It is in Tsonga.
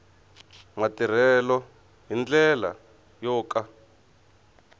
matirhelo hi ndlela yo ka